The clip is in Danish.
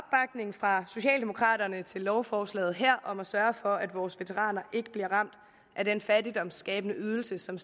fra socialdemokraterne til lovforslaget her om at sørge for at vores veteraner ikke bliver ramt af den fattigdomsskabende ydelse som